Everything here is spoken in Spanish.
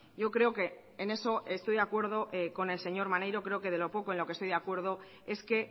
yo creo que en eso estoy de acuerdo con el señor maneiro creo que de lo poco en lo que estoy de acuerdo es que